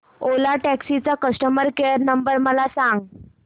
ओला taxi चा customer care number मला सांग